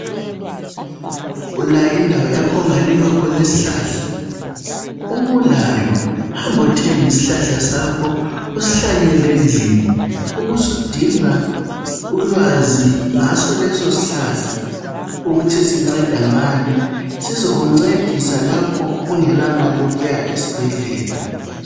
Ulayo indawo yakho ongalima khona isihlahla. Uma ulayo, hambo thenga isihlahla sakho usihlanyele endlini ubusudinga ulwazi ngaso leso sihlahla ukuthi sinceda ngani, sizakuncedisa lapho ungela mali yokuya esibhedlela.